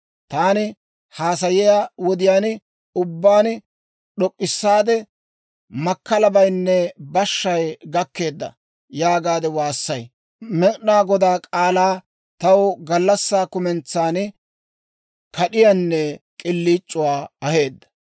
Taani haasayiyaa wodiyaan ubbaan d'ok'k'issaade, «Makkalabaynne bashshay gakkeedda» yaagaade waassay. Med'inaa Godaa k'aalay taw gallassaa kumentsan kad'iyaanne k'iliic'uwaa aheedda.